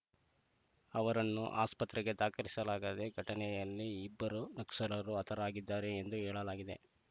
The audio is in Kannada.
ಅವರನ್ನು ಆಸ್ಪತ್ರೆಗೆ ದಾಖಲಿಸಲಾಗದೆ ಘಟನೆಯಲ್ಲಿ ಇಬ್ಬರು ನಕ್ಸಲರೂ ಹತರಾಗಿದ್ದಾರೆ ಎಂದು ಹೇಳಲಾಗಿದೆ